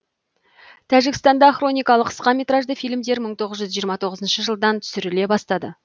тәжікстанда хроникалы қысқа метражды фильмдер мың тоғыз жүз жиырма тоғызыншы жылдан түсіріле бастады